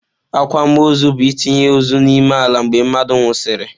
Akwamaọzụ bu-itinye ozu n'ime ala mgbe mmadu nwụsịrị.